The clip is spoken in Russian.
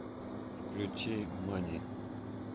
включи мани